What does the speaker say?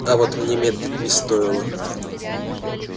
а вот мне медлить не стоило